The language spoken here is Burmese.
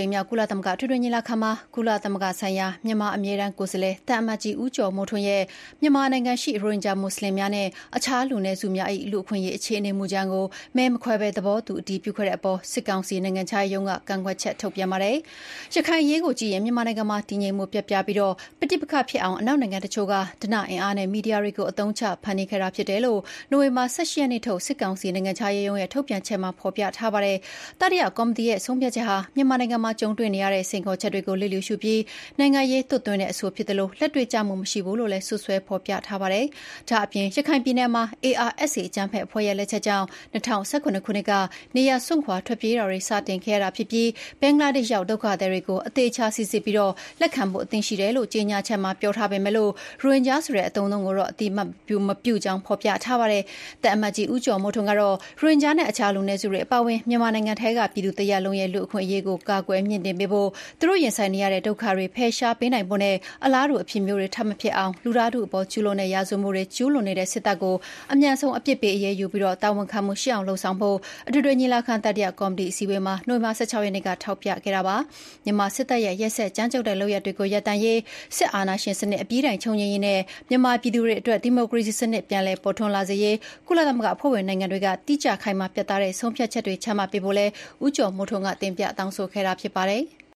ိမ်မြောက် ကုလသမဂ္ဂ အထွေထွေညီလာခံမှာ ကုလသမဂ္ဂဆိုင်ရာ မြန်မာအမြဲတမ်း ကိုယ်စားလှယ် သံအမတ်ကြီး ဦးကျော်မိုးထွန်းရဲ့ “မြန်မာနိုင်ငံရှိ ရိုဟင်ဂျာ မွတ်ဆလင်များနှင့် အခြားလူနည်းစုများ၏ လူ့အခွင့်အရေးအခြေအနေ”မူကြမ်းကို မဲမခွဲပဲ သဘောတူ အတည်ပြုခဲ့တဲ့အပေါ် စစ်ကောင်စီနိုင်ငံခြားရေးရုံးက ကန့်ကွက်ချက်ထုတ်ပြန်ပါတယ်။ ရခိုင်အရေးကိုကြည့်ရင် မြန်မာနိုင်ငံမှာ တည်ငြိမ်မှု ပျက်ပြားပြီး ပဋိပက္ခဖြစ်အောင် အနောက်နိုင်ငံတချို့က ဓနအင်အားနဲ့ မီဒီယာတွေကို အသုံးချ ဖန်တီးခဲ့တာဖြစ်တယ်လို့ နိုဝင်ဘာ ၁၈ ရက်နေ့ထုတ် စစ်ကောင်စီနိုင်ငံခြားရေးရုံးရဲ့ ထုတ်ပြန်ချက်မှာဖော်ပြပါတယ်။ တတိယကော်မတီရဲ့ဆုံးဖြတ်ချက်ဟာ မြန်မာနိုင်ငံမှာ ကြုံတွေ့နေရတဲ့ စိန်ခေါ်ချက်တွေကို လျစ်လ ျှူရှုပြီး နိုင်ငံရေး သွတ်သွင်းတဲ့ အဆိုဖြစ်သလို လက်တွေ့ကျမှုမရှိဘူးလို့လည်း စွပ်စွဲဖော်ပြထားပါတယ်။ ဒါ့အပြင် ရခိုင်ပြည်နယ်မှာ ARSA အကြမ်းဖက်အဖွဲ့ရဲ့လက်ချက်ကြောင့် ၂၀၁၇ ခုနှစ်က နေရပ်စွန့်ခွါထွက်ပြေးတာတွေ စတင်ခဲ့ရတာဖြစ်သလို ဘင်္ဂလားဒေ့ရှ် ရောက် ဒုက္ခသည်တွေကို အသေအချာ စီစစ်ပြီး လက်ခံဖို့ အသင့်ရှိတယ်လို့ ကြေညာချက်မှာ ပြောထားပေမယ့် ရိုဟင်ဂျာဆိုတဲ့ အသုံးအနှုန်းကို အသိအမှတ်မပြုကြောင်း ဖော်ပြထားပါတယ်။ သံအမတ်ကြီး ဦးကျော်မိုးထွန်း ကတော့ ရိုဟင်ဂျာ နဲ့ အခြား လူနည်းစုတွေ အပါအဝင် မြန်မာနိုင်ငံရှိ ပြည်သူတစ်ရပ်လုံးရဲ့ လူ့အခွင့်အရေးကို ကာကွယ်မြှင့်တင်ပေးဖို့၊ သူတို့ရင်ဆိုင်နေရတဲ့ ဒုက္ခတွေ ဖယ်ရှားပေးနိုင်ဖို့နဲ့ အလားတူ အဖြစ်မျိုး ထပ်မဖြစ်အောင် လူသားထုအပေါ်ကျူးလွန်သည့် ရာဇဝတ်မှုအား ကျူးလွန်နေသည့် စစ်တပ်ကို အမြန်ဆုံးအပြစ်ပေးအရေးယူပြီး တာဝန်ခံမှုရှိအောင်လုပ်ဆောင်ဖို့ အထွေထွေညီလာခံ၊ တတိယကော်မတီအစည်းအဝေးမှာ နိုဝင်ဘာ (၁၆)ရက်နေ့က ထောက်ပြခဲ့တာပါ။ မြန်မာ စစ်တပ်ရဲ့ ရက်စက်ကြမ်းကြုတ်တဲ့လုပ်ရပ်တွေရပ်တန့်ရေး၊ စစ်အာဏာရှင်စနစ် အပြီးတိုင် ချုပ်ငြိမ်းရေးနဲ့ မြန်မာပြည်သူများအတွက် ဒီမိုကရေစီစနစ် ပြန်လည်ပေါ်ထွန်းလာစေရေး ကုလသမဂ္ဂအဖွဲ့ဝင်နိုင်ငံတွေက တိကျခိုင်မာပြတ်သားသည့် ဆုံးဖြတ်ချက်များ ချမှတ်ပေးဖို့လည်း ဦးကျော်မိုးထွန်းက တင်ပြတောင်းဆိုခဲ့တာဖြစ်ပါတယ်။